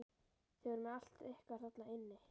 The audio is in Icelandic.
Þið voruð með allt ykkar þarna inni?